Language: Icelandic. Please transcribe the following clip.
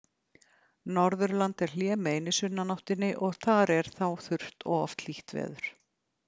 Norðurland er hlémegin í sunnanáttinni og þar er þá þurrt og oft hlýtt veður.